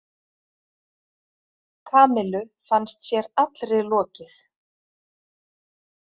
Kamillu fannst sér allri lokið.